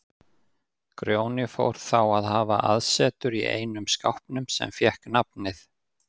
Grjóni fór þá að hafa aðsetur í einum skápnum sem fékk nafnið